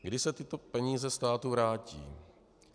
Kdy se tyto peníze státu vrátí?